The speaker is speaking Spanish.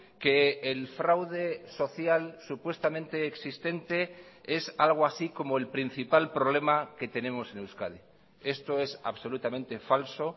que el fraude social supuestamente existente es algo así como el principal problema que tenemos en euskadi esto es absolutamente falso